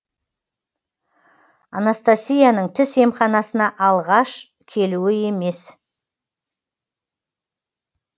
анастасияның тіс емханасына алғаш келуі емес